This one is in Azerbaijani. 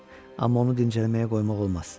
Amma onu dincəlməyə qoymaq olmaz.